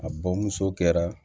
A bɔn muso kɛra